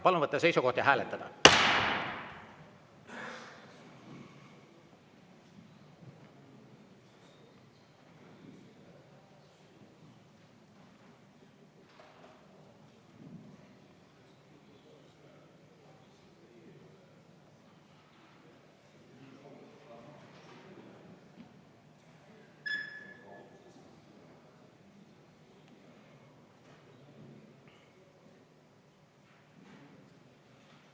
Palun võtta seisukoht ja hääletada!